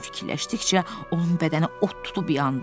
Bunu fikirləşdikcə onun bədəni od tutub yandı.